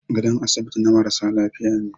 Gadon asibiti na marasa lafiya ne.